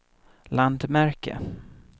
landmärke